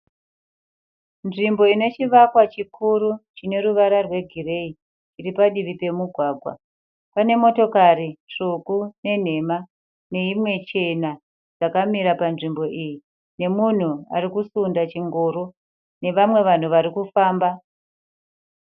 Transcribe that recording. Nzvimbo inechivakwa chikuru chineruvara rwegireyi. Chiripadivi pamugwagwa. Pane motokari tsvuku nenhema, neimwe chena yakamira panzvimbo iyi, nemunhu arikusunda chingoro, nevamwe vanhu varikufamba.